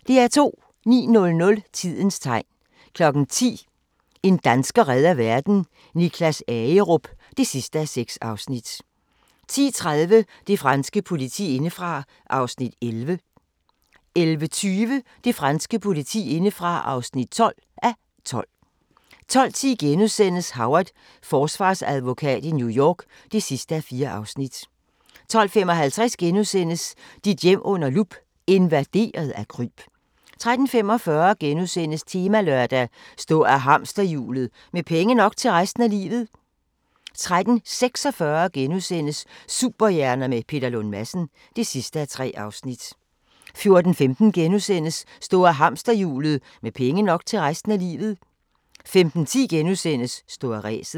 09:00: Tidens tegn 10:00: En dansker redder verden - Niklas Agerup (6:6) 10:30: Det franske politi indefra (11:12) 11:20: Det franske politi indefra (12:12) 12:10: Howard – Forsvarsadvokat i New York (4:4)* 12:55: Dit hjem under lup – invaderet af kryb * 13:45: Temalørdag: Stå af hamsterhjulet – med penge nok til resten af livet * 13:46: Superhjerner med Peter Lund Madsen (3:3)* 14:15: Stå af hamsterhjulet – med penge nok til resten af livet * 15:10: Stå af ræset *